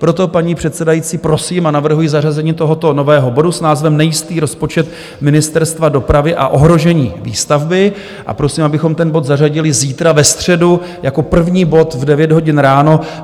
Proto, paní předsedající, prosím a navrhuji zařazení tohoto nového bodu s názvem Nejistý rozpočet Ministerstva dopravy a ohrožení výstavby, a prosím, abychom ten bod zařadili zítra ve středu jako první bod v 9 hodin ráno.